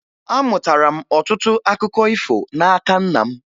Amụtara m ọtụtụ akụkọ ifo n'aka nna m